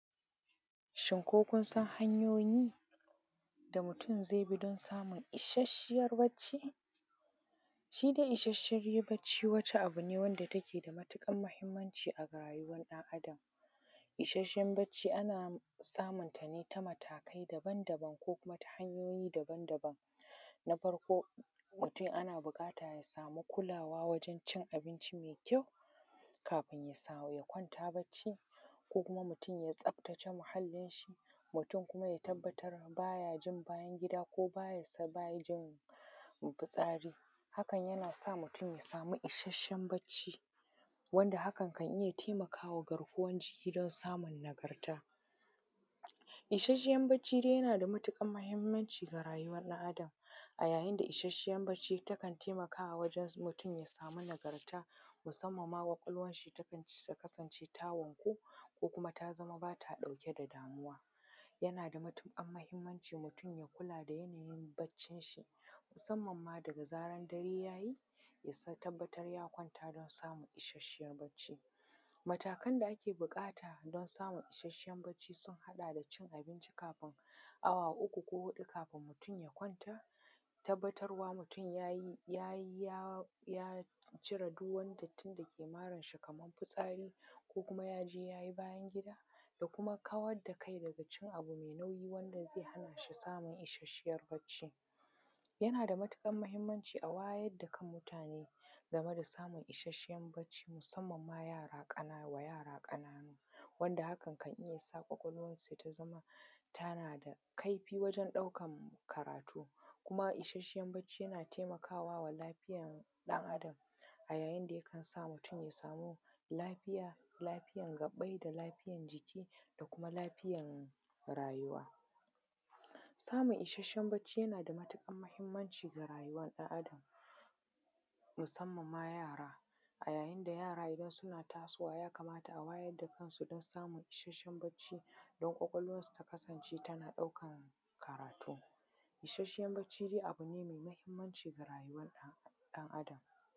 Shin ko kun san hanyoyi da mutum zai bi don samun ishashiyar barci? Shi dai ishashiya baci Wace abu ne wadda take da matuƙar mahimmanci a rayuwa ɗan Adam, ishashiyan barci ana samunta ne ta matakai dabam-dabam, ko ta hanyoyi daban-dabam. Na farko mutum ana so ya samu kulawa wajen cin abinci mai kyau, kafin ya kwanta barci, ko kuma mutum ya tsaftace muhalinshi, mutum kuma ya tabbatar baya jin bayan gida ko baya fitsari, haka yana sa mutum ya samu ishashen barci, wanda hakan na iya taimakawa garkuwan jikin shi don samun nagarta. Ishashiyan barci dai yana da matuƙar mahimmanci ga rayuwar ɗan Adam, a yayin da ishashiyan barci takan taimakawa mutum ya samu nagarta musamman ma ƙwaƙwalwar shi takan kasan ta wanku, ko kuma ta zama bata ɗauke da damuwa. Yana da mutuƙar mahimmanci mutum ya kula da barcin shi musamman daga zaran dare ya yi, ya tabbatar ya kwanta don samun isashiyar barci. Matakan da ake ɓukata don samun ishashiyar barci sun haɗa da cin abinci kafin awa uku ko huɗu kafin mutum ya kwanta, ya tabbatarwa mutum ya yi, ya ,ya cire duk wata dattin dake maranshi kaman futsari ko kuma ya je ya yi bayan gida, da kuma kawar da kai daga cin abu mai nauyi, wanda zai hana shi samun isashiyar baci. Yana da matukar mahimmanci a wayar da kan mutane game da samun ishashen barci musamman ma yara ƙanana, wa yara ƙananu, wanda hakan kan iya sa ƙwaƙwalwansu ta zama tana da kaifi wajen ɗaukan karatu. Kuma ishashen barci yana taimakawa lafiyar ɗan Adam, a yayin da yikan sa mutum ya samu lafiya, lafiyan gabai, da lafiyan jiki, da kuma lafiyan rayuwa. Samun isashen barci yana da matuƙar mahimmanci ga rayuwar ɗan Adam, musamman ma yara, a yayin da yara idan suna tasowa ya kamata a wayar da kansu don samun ishashen barci, don ƙwaƙwalwarsu ta kasance tana ɗaukan karatu. Isashen barci dai abu ne mai mahimmanci ga rayuwa ɗan Adam.